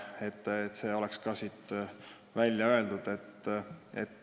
Nüüd on see ka siin välja öeldud.